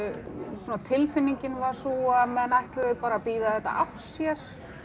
svona tilfinningin var sú að menn ætluðu bara að bíða þetta af sér